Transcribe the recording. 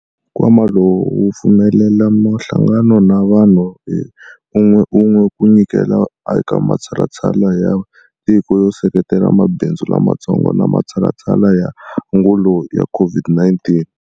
Nkwama lowu wu pfumelela mihlangano na vanhu hi un'weun'we ku nyikela eka matshalatshala ya tiko yo seketela mabindzu lamatsongo na matshalatshala ya angulo ya COVID-19.